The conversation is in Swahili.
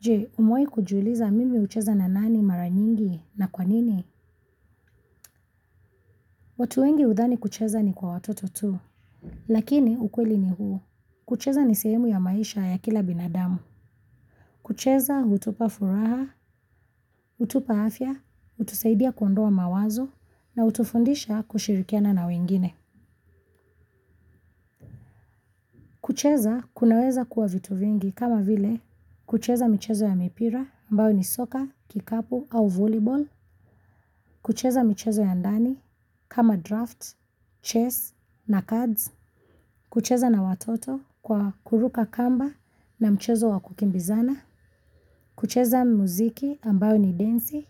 Je, umewahi kujiuliza mimi hucheza na nani maranyingi na kwanini. Watu wengi hudhani kucheza ni kwa watoto tu. Lakini ukweli ni huu. Kucheza ni sehemu ya maisha ya kila binadamu. Kucheza hutupa furaha, hutupa afya, hutusaidia kuondoa mawazo, na hutufundisha kushirikiana na wengine. Kucheza kunaweza kuwa vitu vingi kama vile kucheza michezo ya mipira ambayo ni soccer, kikapu au volleyball, kucheza michezo ya ndani kama draft, chess na cards, kucheza na watoto kwa kuruka kamba na mchezo wa kukimbizana, kucheza muziki ambayo ni densi